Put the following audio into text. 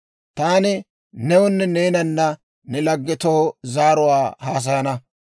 Taani newunne neenanna ne laggetoo zaaruwaa haasayana.